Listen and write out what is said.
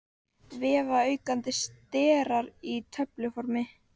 Vefaukandi sterar í töfluformi.